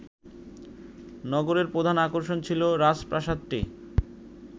নগরের প্রধান আকর্ষণ ছিল রাজপ্রাসাদটি